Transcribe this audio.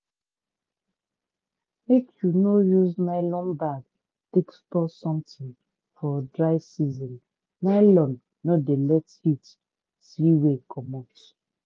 make u no use nylon bag take store something for dry season nylon no dey let heat see way comot.